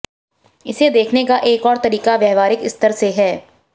इसे देखने का एक और तरीका व्यावहारिक स्तर से है